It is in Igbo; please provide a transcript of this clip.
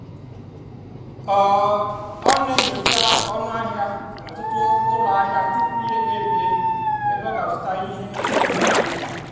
ọ́ ọ́ nà-ènyócha ónú àhịá n'ótùtu ụ́lọ àhịá túpú yá èkpèbíè ébé ọ́ gà-àzụ́tá íhé órírì dì mkpá.